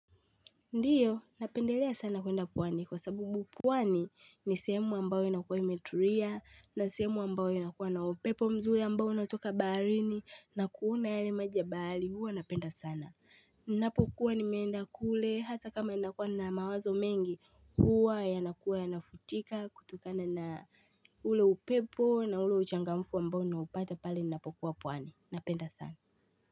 Ndiyo, napendelea sana kuenda pwani kwa sababu pwani ni semu ambayo inakuwa imetulia, na sehemu ambayo inakuwa na upepo mzuri ambao unatoka baharini, na kuna yale maji ya bahari huwa napenda sana. Napokuwa nimeenda kule hata kama inakuwa nina mawazo mengi huwa yanakuwa yanafutika kutukana na ule upepo na ule uchangamfu ambao na upata pali napokuwa pwani. Napenda sana.